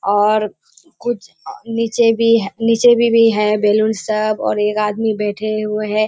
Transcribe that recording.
और कुछ नीचे भी ह निचे में भी है बैलून सब और एक आदमी बैठे हुए है।